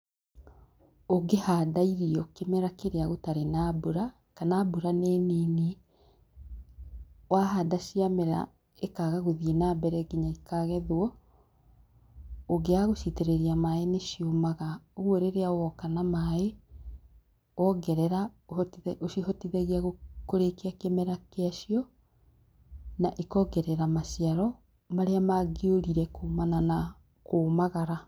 Ũngĩhanda irio kĩmera kĩrĩa gũtarĩ na mbura kana mbura nĩ nini, wahanda cia mera ikaga gũthiĩ na mbere nginya ikagethwo ,ũngĩaga gũcitĩrĩria maĩ nĩ ciũmaga, ũguo rĩrĩa woka na maĩ wongerera ũcihotothagia kũrĩkia kĩmera gĩa cio na ikongerera maciaro marĩa mangĩũrire kumana na kũmagara.